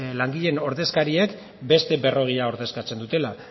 langileen ordezkariek beste berrogeia ordezkatzen dutela